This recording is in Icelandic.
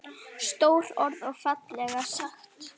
Stór orð og fallega sagt.